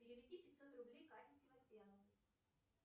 переведи пятьсот рублей кате севастьяновой